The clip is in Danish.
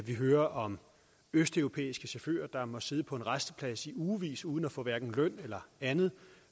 vi hører om østeuropæiske chauffører der må sidde på en rasteplads i ugevis uden at få hverken løn eller andet